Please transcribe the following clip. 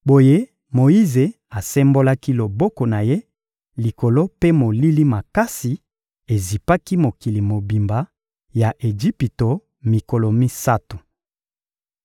Boye Moyize asembolaki loboko na ye likolo mpe molili makasi ezipaki mokili mobimba ya Ejipito mikolo misato.